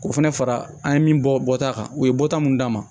K'o fana fara an ye min bɔ bɔta kan u ye bɔta mun d'a ma